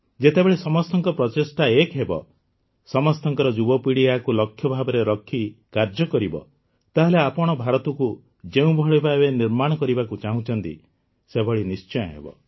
ଯେତେବେଳେ ସମସ୍ତଙ୍କ ପ୍ରଚେଷ୍ଟା ଏକ ହେବ ଆପଣଙ୍କ ଯୁବପିଢ଼ି ଏହାକୁ ଲକ୍ଷ୍ୟ ଭାବରେ ରଖି କାର୍ଯ୍ୟ କରିବ ତାହେଲେ ଆପଣ ଭାରତକୁ ଯେଉଁଭଳି ଭାବେ ନିର୍ମାଣ କରିବାକୁ ଚାହୁଁଛନ୍ତି ସେଭଳି ନିଶ୍ଚୟ ହେବ